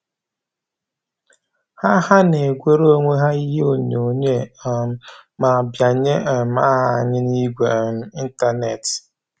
Ha Ha na-egwere onwe ha n'ihe onyoghonyoo um ma bianye um aha anyị n'igwe um ịntanetị